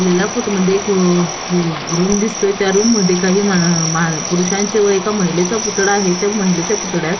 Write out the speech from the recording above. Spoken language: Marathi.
लेल्या फोटो मध्ये एक व र रूम दिसतोय त्या रूम मध्ये काही मा मा पुरूषांचे व एका महिलेचा पुतळा आहे त्या महिलेच्या पुतळ्यात --